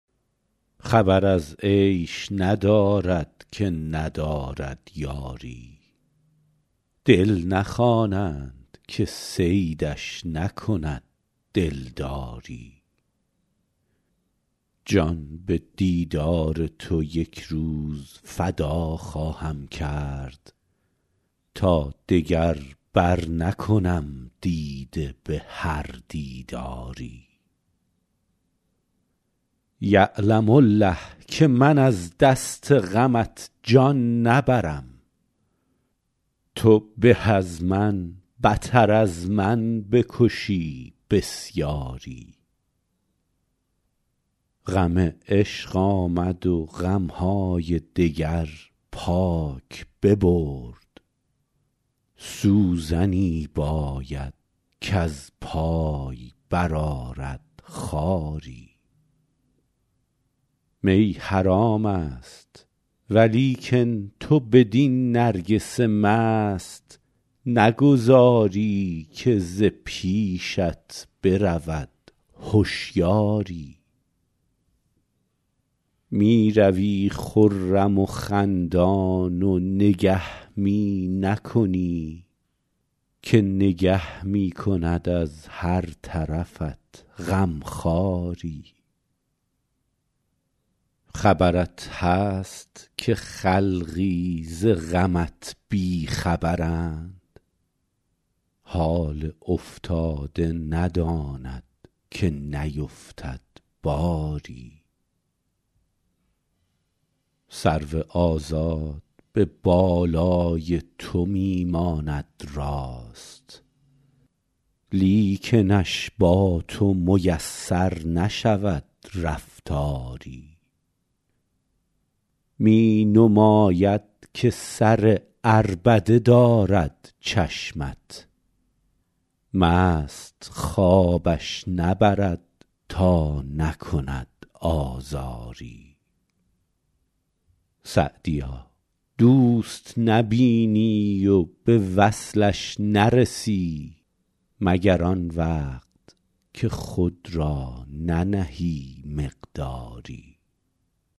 خبر از عیش ندارد که ندارد یاری دل نخوانند که صیدش نکند دلداری جان به دیدار تو یک روز فدا خواهم کرد تا دگر برنکنم دیده به هر دیداری یعلم الله که من از دست غمت جان نبرم تو به از من بتر از من بکشی بسیاری غم عشق آمد و غم های دگر پاک ببرد سوزنی باید کز پای برآرد خاری می حرام است ولیکن تو بدین نرگس مست نگذاری که ز پیشت برود هشیاری می روی خرم و خندان و نگه می نکنی که نگه می کند از هر طرفت غم خواری خبرت هست که خلقی ز غمت بی خبرند حال افتاده نداند که نیفتد باری سرو آزاد به بالای تو می ماند راست لیکنش با تو میسر نشود رفتاری می نماید که سر عربده دارد چشمت مست خوابش نبرد تا نکند آزاری سعدیا دوست نبینی و به وصلش نرسی مگر آن وقت که خود را ننهی مقداری